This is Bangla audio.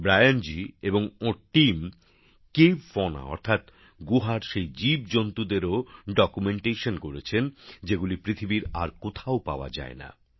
ব্রায়ান জি এবং ওঁর দলের সদস্যরা কেভ ফনাfauna অর্থাৎ গুহার সেই জীবজন্তুদেরও তথ্যও নথিভুক্ত করেছেন যেগুলি পৃথিবীর আর কোথাও পাওয়া যায় না